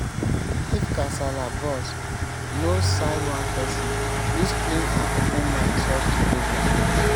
if kasala burst no side one person use clean and open mind solve di problem